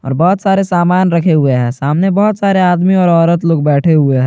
और बहोत सारे सामन रखें हुये है सामने बहुत सारे आदमी और औरत लोग बैठे हुये है।